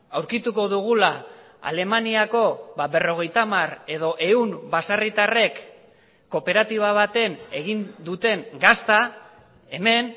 aurkituko dugula alemaniako berrogeita hamar edo ehun baserritarrek kooperatiba baten egin duten gazta hemen